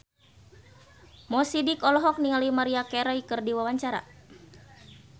Mo Sidik olohok ningali Maria Carey keur diwawancara